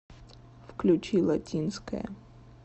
включи латинская